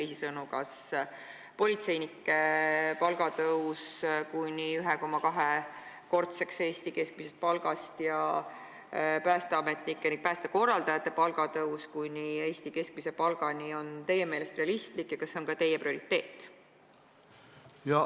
Teisisõnu, kas politseinike palga tõus kuni 1,2-kordse Eesti keskmise palgani ja päästeametnike ning päästekorraldajate palga tõus kuni Eesti keskmise palgani on teie meelest realistlik?